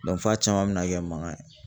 f'a caman bɛ na kɛ mankan ye